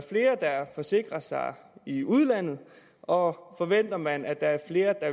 forsikrer sig i udlandet og forventer man at der er flere der